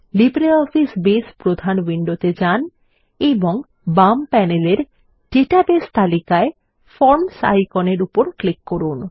LibreOffice Base প্রধান উইন্ডোতে যান এবং বাম প্যানেলের ডাটাবেস তালিকায় ফরমস আইকনের উপর ক্লিক করুন